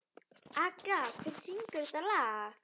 Agla, hver syngur þetta lag?